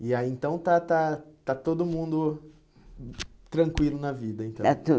E aí, então, está está está todo mundo hum tranquilo na vida, então? Está